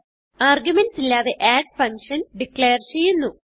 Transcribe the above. arguments ഇല്ലാതെ add function declare ചെയ്യുന്നു